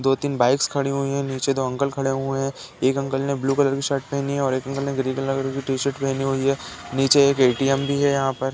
दो तीन बाइक्स खड़ी हुई हैं। नीचे दो अंकल खड़े हुए हैं। एक अंकल ने ब्लू कलर की शर्ट पहनी हुई है और एक अंकल ने ग्रीन कलर की शर्ट पहनी हुई है। नीचे एक ए टी एम भी है यहाँ पर।